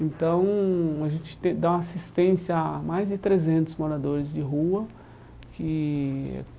Então, a gente tem dá uma assistência a mais de trezentos moradores de rua que.